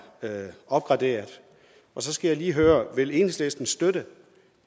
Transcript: opgraderet så skal jeg lige høre vil enhedslistens støtte